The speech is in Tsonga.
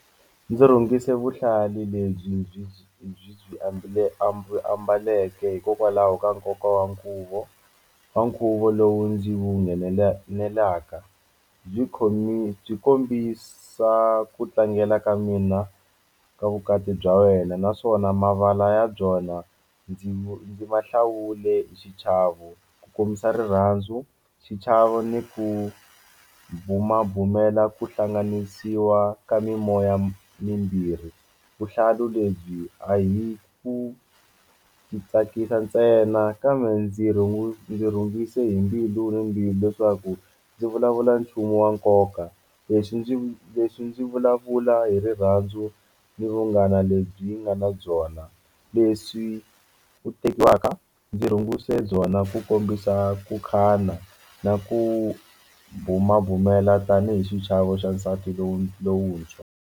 Ndzi rhungise vuhlalu lebyi byi byi ambale ambaleke hikokwalaho ka nkoka wa nkhuvo wa nkhuvo lowu ndzi wu nghenelelaka byi byi kombisa ku tlangela ka mina ka vukati bya wena naswona mavala ya byona ndzi ma hlawule hi xichavo ku kombisa rirhandzu xichavo ni ku bumabumela ku hlanganisiwa ka mimoya mimbirhi vuhlalu lebyi a hi ku ndzi tsakisa ntsena kambe ndzi ndzi rhungise hi mbilu ni mbilu leswaku ndzi vulavula nchumu wa nkoka leswi ndzi leswi ndzi vulavula hi rirhandzu ni vunghana lebyi byi nga na byona leswi u tekiwaka ndzi rhungise byona ku kombisa ku khana na ku bumabumela tanihi xichavo xa nsati lowu lowuntshwa.